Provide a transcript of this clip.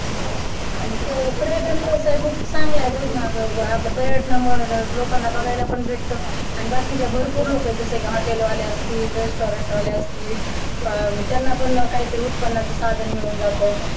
आणि खरं तर पर्यटन व्यवसाय पण खूप चांगला आहे बघ णं आता पर्यटनामुळं लोकांना बघायला पण भेटत आणि बाकीच्या भरपूर लोक आहेत जस कि hotel आले असतील restaurant वाले असतील त्यांना पण ना काहीतरी उत्पन्नाचं साधन मिळून जात.